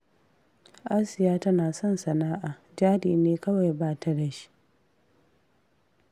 Asiya tana son sana'a, jari ne kawai ba ta da shi